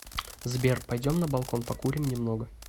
сбер пойдем на балкон покурим немного